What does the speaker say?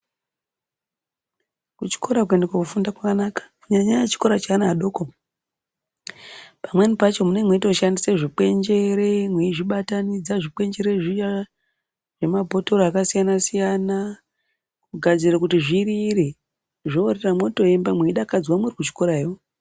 Kuchikora kuende kofunda kwakanaka kunyanya nyanya chikora cheana adoko pamweni pacho munenge mqeitoshansisa zvikwenjere mweizvibatanidza zvikwenjere zviya zvemabhotoro akasiyana siyana kugadzire kuti zvirire zvorira mwotoemba mweidakadzwa murikuchikorayo.